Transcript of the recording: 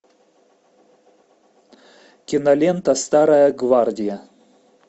кинолента старая гвардия